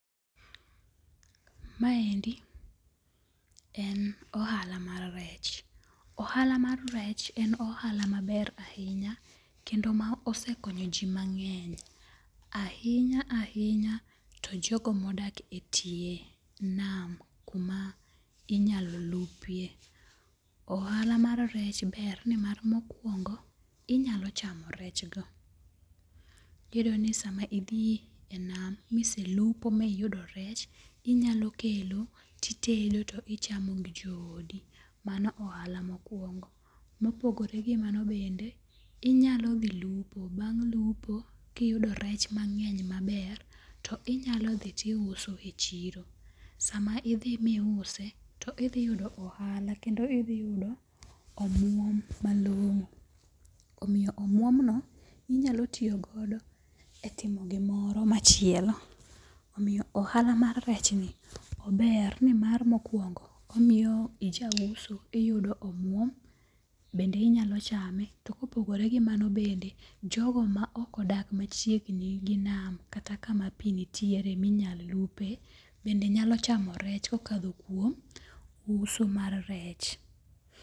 Maendi en ohala mar rech. Ohala mar rech en ohala maber ahinya kendo ma osekonyo ji mang'eny. Ahinya ahinya to jogo modak e tie nam kuma inyalo lupie. Ohala mar rech ber nimar mokwongo inyalo chamo rech go. Iyudo ni sama idhi e nam miselupo miyudo rech inyalo kelo titedo to ichamo gi jo odi. Mano ohala mokwongo. Mopogore gi mano bende inyalo dhi lupo bang' lupo kiyudo rech mange'ny maber ti nyalo dhi ti uso e chiro. Sama idhi mi use todhi yudo ohala. Kendo idhi yudo omuom malong'o. Omiyo omuom no inyalo tiyogo e timo gimoro machielo. Omiyo ohala mar rech ni ober ni mar mokuongo omiyo ija uso iyudo omuom bende inyalo chame. To kopogore gi mano bende jogo ma ok odak machiegni gi nam kata kama pi nitiere minyal lupe bende nyalo chamo rech kokadho kuom uso mar rech.